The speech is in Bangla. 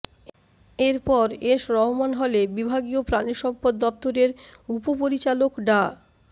এরপর এস রহমান হলে বিভাগীয় প্রাণিসম্পদ দফতরের উপপরিচালক ডা